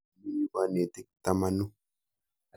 Mi yu kanetik tamanu.